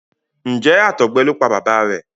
Njé àtọgbẹ ló pá bàbá rẹ?